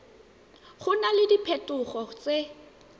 go na le diphetogo tse